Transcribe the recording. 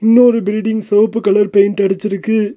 இன்னொரு பில்டிங் செவ்ப்பு colour paint அடிச்சுருக்கு.